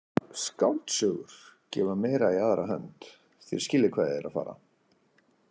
Skáldsögur gefa meira í aðra hönd, þér skiljið hvað ég er að fara.